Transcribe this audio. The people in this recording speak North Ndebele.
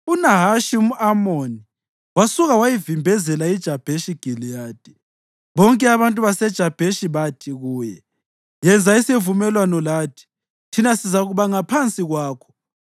UNahashi umʼAmoni wasuka wayivimbezela iJabheshi Giliyadi. Bonke abantu baseJabheshi bathi kuye, “Yenza isivumelwano lathi, thina sizakuba ngaphansi kwakho.”